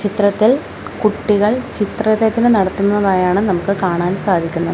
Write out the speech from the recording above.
ചിത്രത്തിൽ കുട്ടികൾ ചിത്രരചന നടത്തുന്നതായാണ് നമുക്ക് കാണാൻ സാധിക്കുന്നത്.